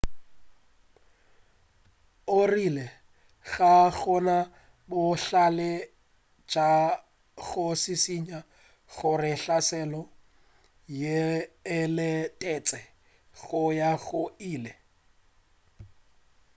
o rile ga gona bohlale bja go šišinya gore hlaselo yeo e letetšwe go ya go ile